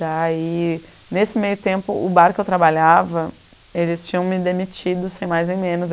Daí, nesse meio tempo, o bar que eu trabalhava, eles tinham me demitido, sem mais nem menos.